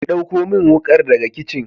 Ki dauko min wukar daga kicin